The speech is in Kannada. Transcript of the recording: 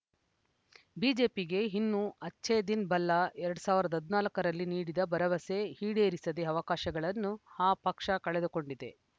ಬಿಜೆಪಿಗೆ ಇನ್ನು ಅಚ್ಛೇ ದಿನ್‌ ಬಲ್ಲ ಎರಡ್ ಸಾವಿರದ ಹದಿನಾಲ್ಕರಲ್ಲಿ ನೀಡಿದ ಭರವಸೆ ಈಡೇರಿಸದೇ ಅವಕಾಶಗಳನ್ನು ಆ ಪಕ್ಷ ಕಳೆದುಕೊಂಡಿದೆ